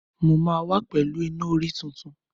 Mo máa wá pẹ̀lú Iná-orí tuntun.